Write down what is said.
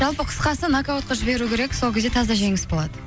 жалпы қысқасы нокаутқа жіберу керек сол кезде таза жеңіс болады